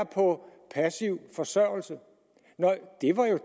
på passiv forsørgelse